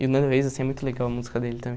E o Nando Reis, assim, é muito legal a música dele